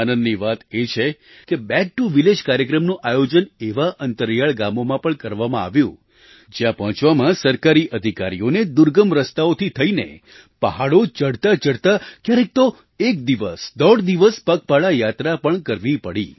આનંદની વાત એ છે કે બેક ટીઓ વિલેજ કાર્યક્રમનું આયોજન એવાં અંતરિયાળ ગામોમાં પણ કરવામાં આવ્યું જ્યાં પહોંચવામાં સરકારી અધિકારીઓને દુર્ગમ રસ્તાઓથી થઈને પહાડો ચડતાંચડતાં ક્યારેક તો એક દિવસ દોઢ દિવસ પગપાળા યાત્રા પણ કરવી પડી